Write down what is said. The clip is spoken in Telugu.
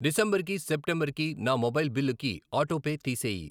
డిసెంబర్ కి, సెప్టెంబర్ కి, నా మొబైల్ బిల్లుకి ఆటోపే తీసేయి.